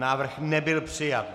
Návrh nebyl přijat.